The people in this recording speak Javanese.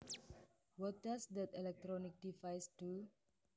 What does that electronic device do